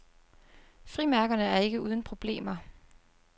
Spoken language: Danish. Frimærkerne er ikke uden problemer.